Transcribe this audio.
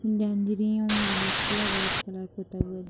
white colour red colour पुता हुआ --